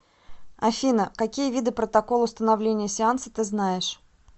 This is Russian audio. афина какие виды протокол установления сеанса ты знаешь